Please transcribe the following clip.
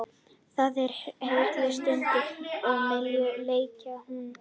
Það er hrikalega stutt á milli leikja núna.